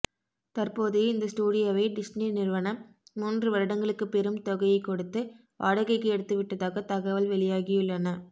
தற்போது இந்த ஸ்டூடியோவை டிஸ்னி நிறுவனம் மூன்று வருடங்களுக்கு பெரும் தொகையைக் கொடுத்து வாடகைக்கு எடுத்துவிட்டதாக தகவல் வெளியாகியுள்ளன